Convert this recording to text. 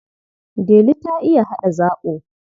Delu ta iya haɗa zaɓo.